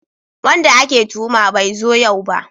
Wanda ake tuhuma bai zo yau ba